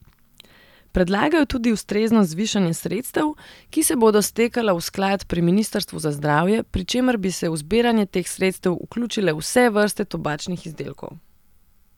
Predlagajo tudi ustrezno zvišanje sredstev, ki se bodo stekala v sklad pri ministrstvu za zdravje, pri čemer bi se v zbiranje teh sredstev vključile vse vrste tobačnih izdelkov.